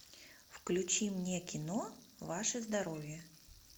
включи мне кино ваше здоровье